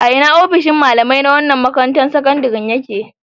A ina ofishin malamai na wannan makarantar sakandaren ya ke?